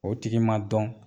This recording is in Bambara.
O tigi ma dɔn.